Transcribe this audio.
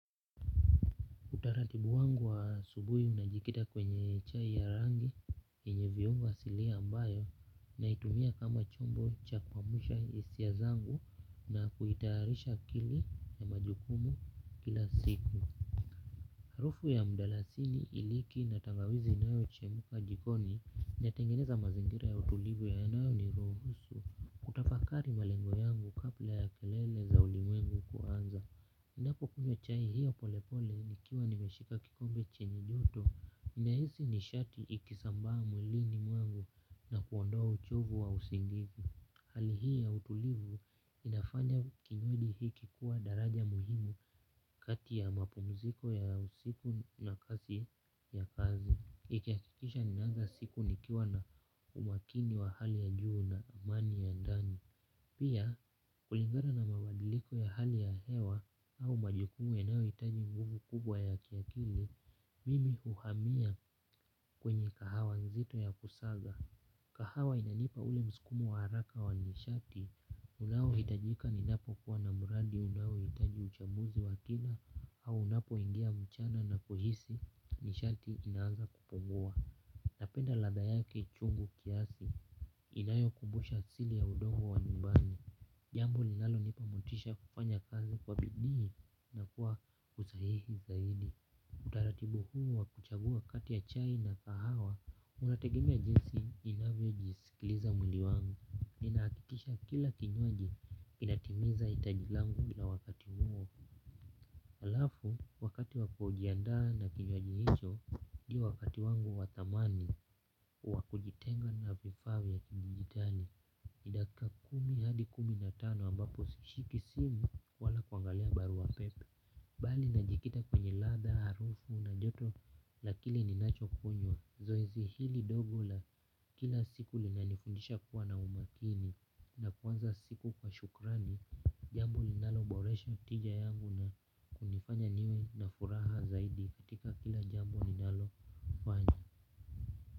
Utaratibu wangu wa asubuhi ninajikita kwenye chai ya rangi yenye viungo asilia ambayo naitumia kama chombo cha kuamsha hisia zangu na kutayarisha akili na majukumu kila siku harufu ya mdalasini iliki na tangawizi inaochemka jikoni inatengeneza mazingira ya utulivu yanao niruhusu kutafakari malengo yangu kabla ya kelele za ulimwengu kuanza. Ninapo kunywa chai hiyo polepole nikiwa nimeshika kikombe chenye joto nahisi nishati ikisambaa mwilini mwangu na kuondoa uchovu wa usingizi hali hii ya utulivu inafanya kinywaji hiki kuwa daraja muhimu kati ya mapumziko ya usiku na kasi ya kazi ikihakikisha ninaanza siku nikiwa na umakini wa hali ya juu na amani ya ndani pia kulingara na mabadiliko ya hali ya hewa au majukumu yanaojitaji mguvu kubwa ya kiakili mimi huhamia kwenye kahawa nzito ya kusaga kahawa inanipa ule msukumo wa haraka wa nishati unaohitajika ninapokuwa na mradi unaohitaji uchambuzi wa kina au unapoingia mchana na kuhisi nishati inaaza kupungua napenda ladha yake chungu kiasi inayokumbusha asili ya udongo wa nyumbani jambo linalonioa motisha ya kufanya kazi kwa bidii na kwa usahihi zaidi utaratibu huu wa kuchagua kati ya chai na kahawa unategemea jinsi ninavyo jisikiliza mwili wangu ninahakikisha kila kinywaji inatimiza hitaji langu la wakati huo. Alafu, wakati wa kujiandaa na kinywaji hicho ndio wakati wangu wa thamani wa kujitenga na vifaa vya kidijitali ni dakika kumi hadi kumi na tano ambapo sishiki simu wala kuangalia barua pepe bali najikita kwenye ladha, harufu na joto la kile ninacho kunywa zoezi hili dogo la kila siku linanifundisha kuwa na umakini na kuanza siku kwa shukrani jambo linalo boresha tija yangu na kunifanya niwe na furaha zaidi katika kila jambu ninalofanya.